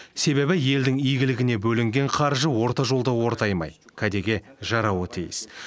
себебі елдің игілігіне бөлінген қаржы орта жолда ортаймай кәдеге жарауы тиіс